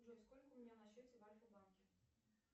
джой сколько у меня на счете в альфа банке